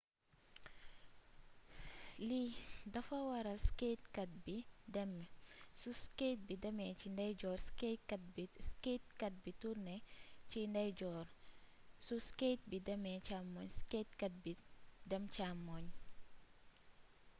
lii dafa waral skatekat bi demee su skate bi demee ci ndeyjoor skatekat bi turne ci ndeeyjoor su skate bi demee càmmoñ skatekat bi dem càmmoñ